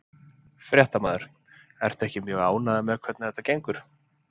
Fréttamaður: Ertu ekki mjög ánægður með hvernig þetta gengur?